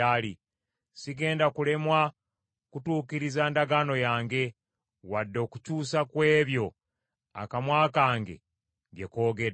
Sigenda kulemwa kutuukiriza ndagaano yange, wadde okukyusa ku ebyo akamwa kange bye koogedde.